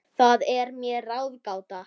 Það er mér ráðgáta